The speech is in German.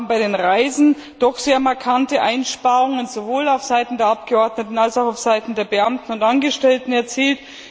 Wir haben bei den Reisen doch sehr markante Einsparungen sowohl auf Seiten der Abgeordneten als auch auf Seiten der Beamten und Angestellten erzielt.